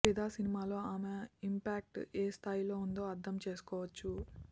ఫిదా సినిమాలో ఆమె ఇంపాక్ట్ ఎ స్థాయిలో ఉందో అర్ధం చేసుకోవచ్చు